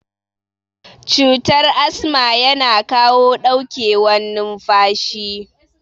Cutar asma yana kawo ɗauke wan numfashi